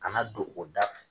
Kana don o da f